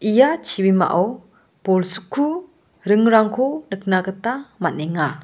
ia chibimao bolsku ringrangko nikna gita man·enga.